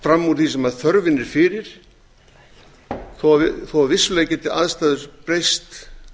fram úr því sem þörfin er fyrir þó að vissulega geti aðstæður breyst